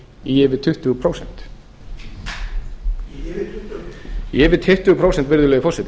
í yfir tuttugu prósent í yfir tuttugu prósent í yfir tuttugu prósent virðulegi forseti